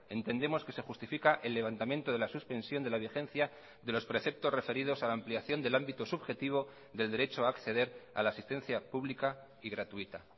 entendemos que se justifica el levantamiento de la suspensión de la vigencia de los preceptos referidos a la ampliación del ámbito subjetivo del derecho a acceder a la asistencia pública y gratuita